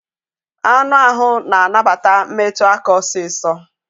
Anụ ahụ na anabata metụ aka osiso